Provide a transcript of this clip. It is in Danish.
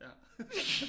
Ja